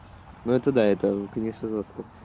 ну это да это конечно жоска